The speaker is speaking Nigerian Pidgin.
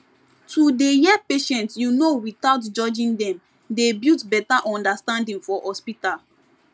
to dey hear patients you know without judging dem dey build better understanding for hospital